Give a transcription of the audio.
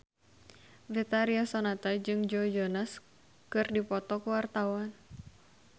Betharia Sonata jeung Joe Jonas keur dipoto ku wartawan